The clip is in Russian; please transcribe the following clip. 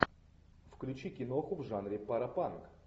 включи киноху в жанре паропанк